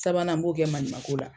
Sabanan n b'o kɛ maɲimako la.